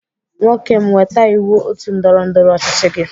Nwoke m weta iwu otu ndọrọ ndọrọ ọchịchị gi!